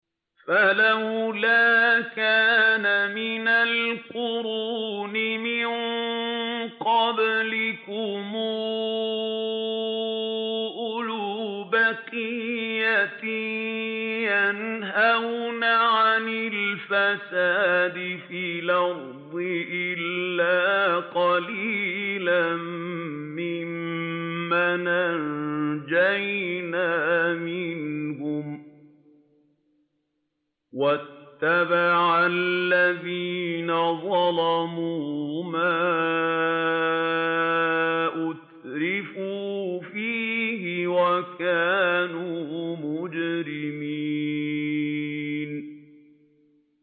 فَلَوْلَا كَانَ مِنَ الْقُرُونِ مِن قَبْلِكُمْ أُولُو بَقِيَّةٍ يَنْهَوْنَ عَنِ الْفَسَادِ فِي الْأَرْضِ إِلَّا قَلِيلًا مِّمَّنْ أَنجَيْنَا مِنْهُمْ ۗ وَاتَّبَعَ الَّذِينَ ظَلَمُوا مَا أُتْرِفُوا فِيهِ وَكَانُوا مُجْرِمِينَ